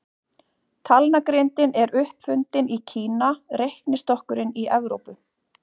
Talnagrindin er upp fundin í Kína, reiknistokkurinn í Evrópu.